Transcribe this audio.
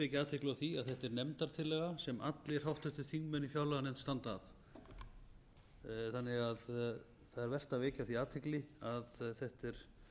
vekja athygli á því að þetta er nefndartillaga sem allir háttvirtir þingmenn í fjárlaganefnd standa að þannig að það er vert að vekja á því athygli að þetta er